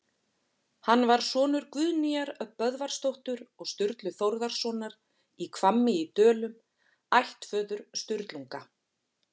Hann var sonur Guðnýjar Böðvarsdóttur og Sturlu Þórðarsonar í Hvammi í Dölum, ættföður Sturlunga.